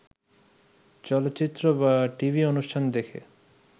চলচ্চিত্র বা টিভি অনুষ্ঠান দেখে